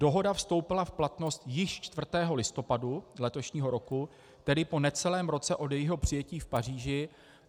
Dohoda vstoupila v platnost již 4. listopadu letošního roku, tedy po necelém roce od jejího přijetí v Paříži.